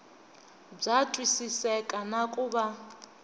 bya twisiseka na ku va